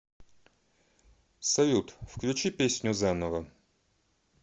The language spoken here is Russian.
салют включи песню заново